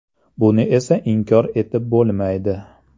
Buni esa inkor etib bo‘lmaydi.